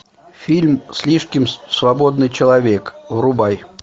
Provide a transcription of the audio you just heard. фильм слишком свободный человек врубай